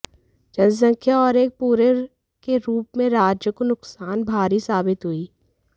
जनसंख्या और एक पूरे के रूप में राज्य को नुकसान भारी साबित हुई